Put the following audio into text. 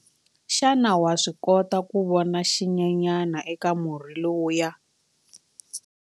Xana wa swi kota ku vona xinyenyana eka murhi lowuya?